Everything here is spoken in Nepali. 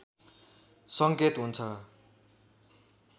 सङ्केत हुन्छ